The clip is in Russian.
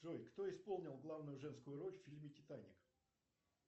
джой кто исполнил главную женскую роль в фильме титаник